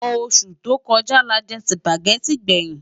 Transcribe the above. Ósú tó kòjá lájè Sùpágèti gbèyin